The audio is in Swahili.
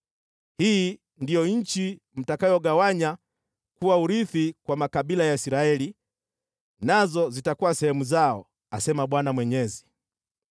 “Hii ndiyo nchi mtakayogawanya kuwa urithi kwa makabila ya Israeli, nazo zitakuwa sehemu zao,” asema Bwana Mwenyezi.